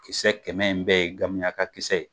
Kisɛ kɛmɛ in bɛɛ ye gamiyaka kisɛ ye.